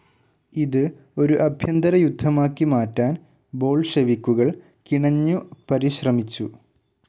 ഇത് ഒരു അഭ്യന്തരയുദ്ധമാക്കി മാറ്റാൻ ബോൾഷെവിക്കുകൾ കിണഞ്ഞു പരിശ്രമിച്ചു.